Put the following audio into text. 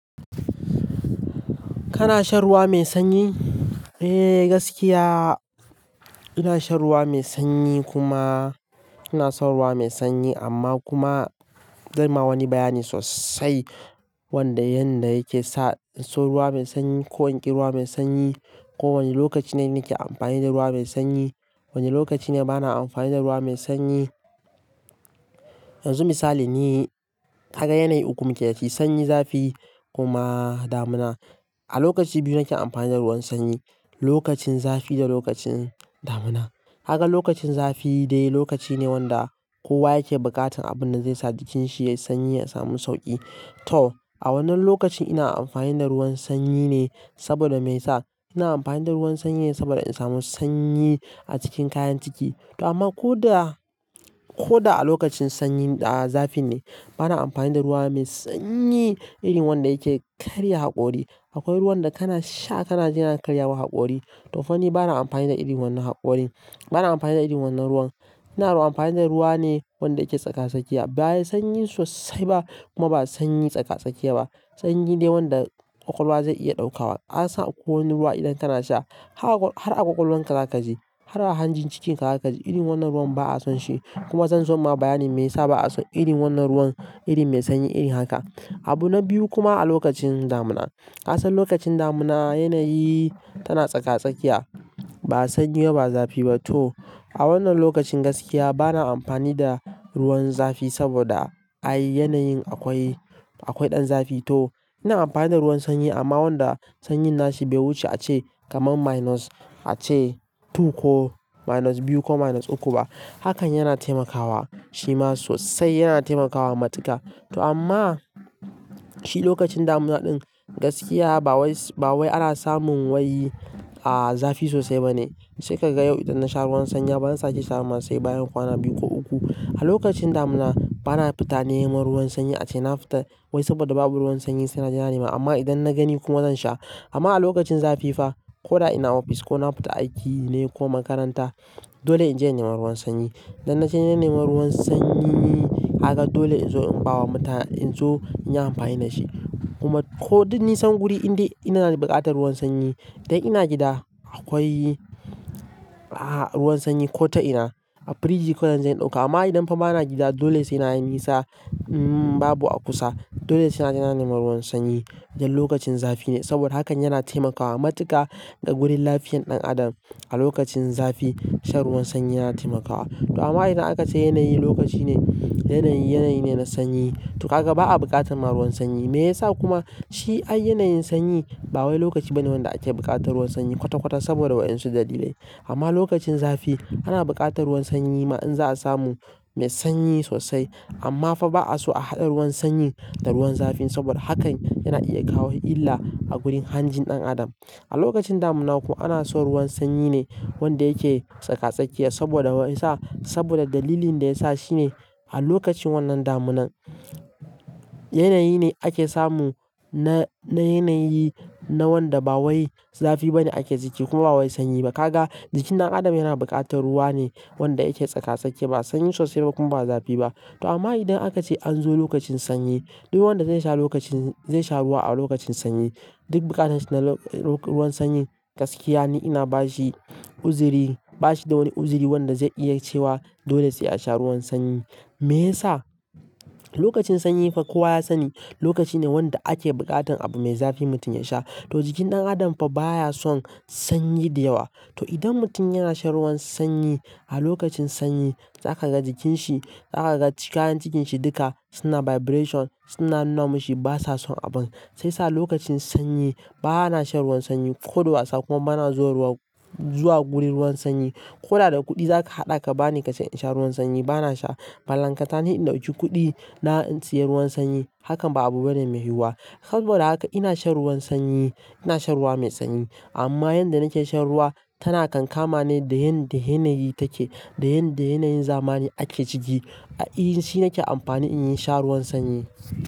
Kana shan ruwa mai sanyi? Eh gaskiya ina shan ruwa mai sanyi kuma ina son ruwa mai sanyi amma kuma zan ma wani bayani sosai wanda yanda yake sa in so ruwa mai sanyi ko in ƙi ruwa mai sanyi ko wane lokaci ne nake amfani da ruwa mai sanyi wane lokaci ne bana amfani da ruwa mai sanyi. Yanzu misali ne ka ga yanayi uku muke dashi sanyi, zafi, kuma damuna. A lokaci biyu nake amfani da ruwan sanyi, lokacin zafi da lokacin damuna. Kaga lokacin zafi dai lokaci ne wanda kowa yake buƙatan abun da zai sa jikinshi yayi sanyi ya samu sauƙi. To a wannan lokacin ina amfani da ruwan sanyi ne saboda me yasa? Ina amfani da ruwan sanyi saboda in samu sanyi a cikin kayan ciki to amma ko da, ko da a lokacin sanyi a zafi ne bana amfani da ruwa mai sanyi irin wanda yake karya haƙori. Akwai ruwan da kana sha kana ji yana karya ma haƙori to fa ni bana amfani da irin wannan haƙori, bana amfani da irin wannan ruwan. Ina ruwa amfani da ruwa ne wanda yake tsaka-tsakiya be yi sanyi sosai ba kuma ba sanyi tsaka-tsakiya ba. Sanyi dai wanda ƙwaƙwalwa zai iya ɗaukawa. Ka san akwai wani ruwa idan kana sha har a ƙwaƙwalwar ka zaka ji har a hanjin cikin ka zaka ji. Irin wannan ruwan ba'a son shi kuma zan zo ma bayanin me yasa ba'a son irin wannan ruwan irin mai sanyi irin haka. Abu na biyu kuma a lokacin damuna. Ka san lokacin damuna yanayi tana tsaka-tsakiya ba sanyi ba zafi ba. To a wannan lokacin gaskiya bana amfani da ruwan zafi saboda ai yanayin akwai, akwai ɗan zafi. To ina amfani da ruwan sanyi amma wanda sanyin nashi bai wuce a ce kaman minus a ce two ko minus biyu ko minus uku ba. Hakan yana taimakawa shi ma sosai yana taimakawa matuka. To amma shi lokacin damuna ɗin gaskiya ba wai, ba wai ana samun wai zafi sosai ba ne sai ka ga yau idan na sha ruwan sanyi bana sake sha ba ma sai bayan kwana biyu ko uku. A lokacin damuna bana fita nema ruwan sanyi a ce na fita wai saboda babu ruwan sanyi sai na ji na nema amma idan na gani kuma zan sha. Amma a lokacin zafi fa ko da ina ofis ko na fita aiki ne ko makaranta dole in je na nema ruwan sanyi. Idan na je na nema ruwan sanyi kaga dole in zo in ba wa mutane in zo in yi amfani da shi kuma ko duk nisan guri in dai ina na buƙatar ruwan sanyi. Idan ina gida akwai ruwan sanyi ko ta ina a firiji kullum zan ɗauka amma idan fa bana gida dole sai na yi nisa in babu a kusa dole sai na je na nema ruwan sanyi idan lokacin zafi ne saboda hakan yana taimakawa matuka a gurin lafiyan ɗan adam. A lokacin zafi shan ruwan sanyi yana taimakawa. To amma idan aka ce yanayi lokaci ne yanayi, yanayi ne na sanyi to ka ga ba'a buƙatan ma ruwan sanyi. Me yasa kuma? Shi ai yanayin sanyi ba wai lokaci bane wanda ake buƙatar ruwan sanyi kwata-kwata saboda wa'insu dalilai. Amma lokacin zafi ana buƙatar ruwan sanyi ma in za'a samu mai sanyi sosai amma fa ba'a so a haɗa ruwan sanyi da ruwan zafi saboda hakan yana iya kawo illa a gurin hanjin ɗan adam. A lokacin damuna ko ana so ruwan sanyi ne wanda yake tsaka-tsakiya saboda me yasa? Saboda dalilin da yasa shi ne a lokacin wannan damunan yanayi ne ake samu na, na yanayi na wanda ba wai zafi bane ake ciki kuma ba wai sanyi ba. Ka ga jikin ɗan adam yana buƙatar ruwa ne wanda yake tsaka-tsakiya ba sanyi sosai ba kuma ba zafi ba. To amma idan aka ce an zo lokacin sanyi duk wanda zai sha lokacin, zai sha ruwa a lokacin sanyi duk buƙatan shi na ruwan sanyi gaskiya ne ina ba shi uzuri, ba shi da wani uzuri wanda zai iya cewa dole sai a sha ruwan sanyi. Me yasa? Lokacin sanyi fa kowa ya sani lokaci ne wanda ake buƙatan abu mai zafi mutum ya sha. To jikin ɗan adam fa baya son sanyi da yawa. To idan mutum yana shan ruwan sanyi a lokacin sanyi za ka ga jikin shi, za ka ga kayan cikin shi duka suna vibration suna nunamashi basa son abun. Shi yasa lokacin sanyi ba na shan ruwan sanyi ko da wasa kuma bana zuwa ruwa, zuwa gurin ruwan sanyi. Ko da da kuɗi za ka haɗa ka bani ka ce in sha ruwan sanyi bana sha. Ballankatane in ɗauki kuɗi na in siyar ruwan sanyi hakan ba abu bane mai yiwuwa. Saboda haka ina shan ruwan sanyi, ina shan ruwa mai sanyi amma yanda nake shan ruwa tana kankama ne da yan, da yanayi take da yan, da yanayin zamani ake ciki. A iyin shi nake amfani in sha ruwan sanyi.